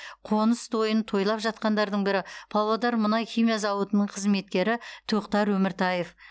қоныс тойын тойлап жатқандардың бірі павлодар мұнай химия зауытының қызметкері тоқтар өміртаев